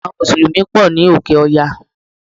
Àwon mùsùlùmí pò ní òkè oya